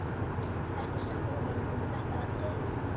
Ertu sammála honum um þetta atriði?